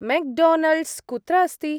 McDonald's कुत्र अस्ति?